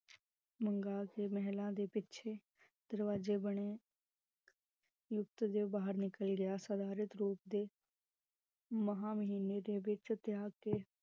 ਮੰਗਾ ਕੇ ਮਹਿਲਾ ਦੇ ਪਿਛੇ ਦਰਵਾਜੇ ਬਣੇ ਦੇ ਬਾਹਰ ਨਿਕਲ ਗਿਆ ਰੂਪ ਤਾਂ ਮਹਾ ਮਹੀਨੇ ਦੇ ਵਿਚ ਤਿਆਗ ਕੇ